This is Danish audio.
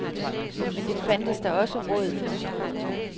Men det fandtes der også råd for.